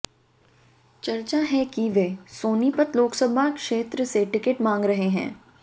चर्चा है कि वे सोनीपत लोकसभा क्षेत्र से टिकट मांग रहे हैं